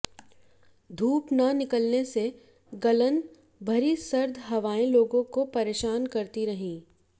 धूप न निकलने से गलन भरी सर्द हवाएं लोगों को परेशान करती रहीं